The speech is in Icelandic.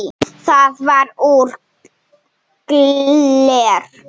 Það var úr gleri.